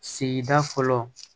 Sigida fɔlɔ